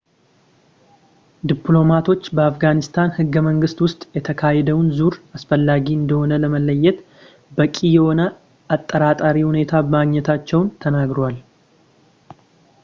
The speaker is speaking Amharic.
ዲፕሎማቶች በአፍጋኒስታን ህገ-መንግስት ውስጥ ፣ የተካሄደውን ዙር አላስፈላጊ እንደሆነ ለመለየት በቂ የሆነ አጠራጣሪ ሁኔታ ማግኘታቸውን ተናግረዋል